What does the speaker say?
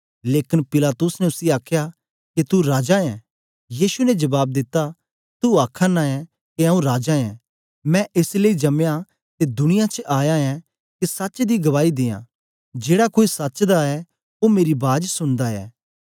लेकन पिलातुस ने उसी आखया ते के तू राजा ऐ यीशु ने जबाब दिता तू आखा नां ऐ के आऊँ राजा ऐ मैं एस लेई जमया ते दुनिया च आया ऐं के सच दी गवाही दियां जेड़ा कोई सच दा ऐ ओ मेरी बाज सुनदा ऐ